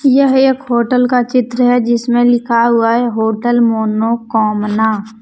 यह एक होटल का चित्र है जिसमें लिखा हुआ है होटल मोनोकामना ।